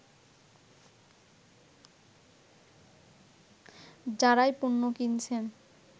যারাই পণ্য কিনছেন